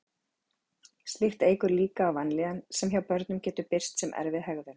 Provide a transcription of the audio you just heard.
slíkt eykur líkur á vanlíðan sem hjá börnum getur birst sem erfið hegðun